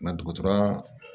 dɔgɔtɔrɔya